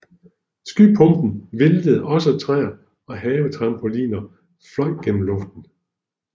Skypumpen væltede også træer og havetrampoliner fløj gennem luften